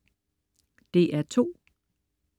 DR2: